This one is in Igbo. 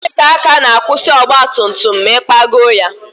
Breeki aka na-akwụsị ọgba tum tum ma ị na-ịkpagọọ ya